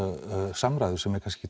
samræður sem er kannski